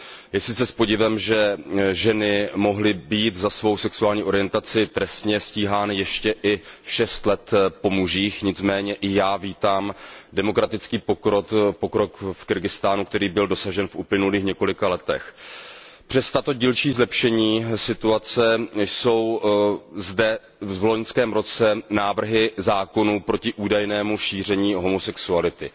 Je sice s podivem, že ženy mohly být za svou sexuální orientaci trestně stíhány ještě i šest let po mužích, nicméně i já vítám demokratický pokrok v Kyrgyzstánu, který byl dosažen v uplynulých několika letech. Přes tato dílčí zlepšení situace jsou zde v loňském roce návrhy zákonů proti údajnému šíření homosexuality.